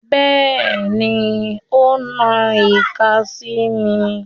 Bẹ́ẹ̀ni, ó na ìka sí mi.